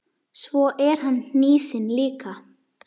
Svo er hann hnýsinn líka.